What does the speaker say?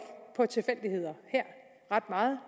ret meget